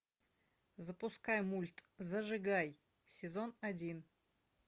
запускай мульт зажигай сезон один